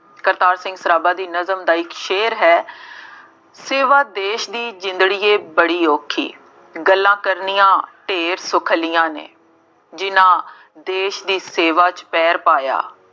ਕਰਤਾਰ ਸਿੰਘ ਸਰਾਭਾ ਦੀ ਨਜ਼ਲ ਦਾ ਇੱਕ ਸ਼ੇਅਰ ਹੈ ਸੇਵਾ ਦੇਸ਼ ਦੀ ਜਿੰਦੜੀਏ ਬੜੀ ਔਖੀ, ਗੱਲਾਂ ਕਰਨੀਆਂ ਢੇਰ ਸੁਖੱਲੀਆਂ ਨੇ, ਜਿੰਨ੍ਹਾ ਦੇਸ਼ ਦੀ ਸੇਵਾ ਚ ਪੈਰ ਪਾਇਆ